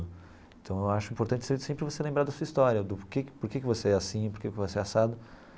Então eu acho importante você sempre você lembrar da sua história, do por que por que você é assim, do por que você é assado.